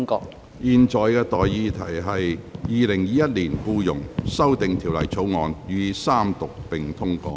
我現在向各位提出的待議議題是：《2021年僱傭條例草案》予以三讀並通過。